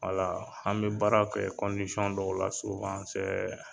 an bɛ baara kɛ dɔw la